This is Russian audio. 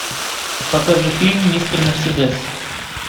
покажи фильм мистер мерседес